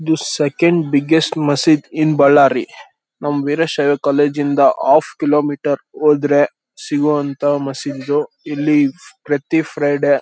This second biggest ಮಸೀದ್ in Ballari. ನಮ್ಮ Veerashaiva college ಇಂದ ಆಫ್ ಕಿಲೋ ಮೀಟರ್ ಹೋದ್ರೆ ಸಿಗುವಂತ ಮಸೀದಿ ಇದು ಇಲ್ಲಿ ಪ್ರತಿ ಫ್ರೈಡೆ --